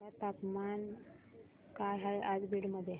सांगा तापमान काय आहे आज बीड मध्ये